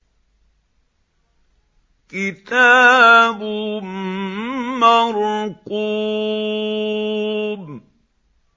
كِتَابٌ مَّرْقُومٌ